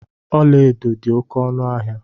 Ọla edo dị oké ọnụ ahịa.